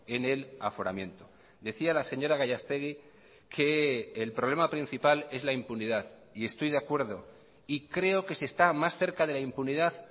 en el aforamiento decía la señora gallastegui que el problema principal es la impunidad y estoy de acuerdo y creo que se está más cerca de la impunidad